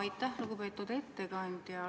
Aitäh, lugupeetud ettekandja!